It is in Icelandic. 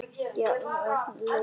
Alltaf jafn léttur á fæti.